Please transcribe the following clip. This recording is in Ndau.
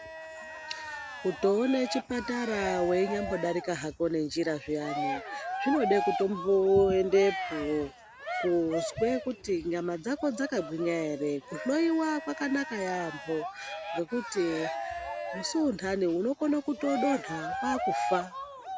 Kutoone chipatara weinyambodarika hako nenjira zviyani, zvinode kutomboendepo, kozwe kuti nyama dzako dzakagwinya ere. Kuhloiwa kwakanaka yaampho ,ngekuti musi untani unokone kuyodonha kwaakufa.